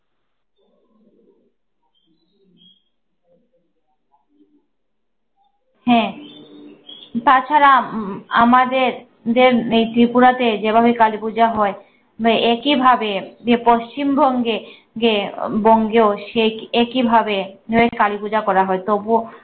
হ্যা তাছাড়া উম আমাদের দেড় এই ত্রিপুরাতে যেভাবে কালীপূজা হয়, হয় একইভাবে যে পশ্চিমবঙ্গে গে বঙ্গেও সে একই ভাবে কালীপূজা করা হয় তবুও